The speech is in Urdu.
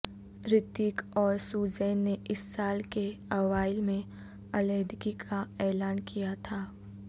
رتیک اور سوزین نے اس سال کے اوائل میں علیحدگی کا اعلان کیا تھا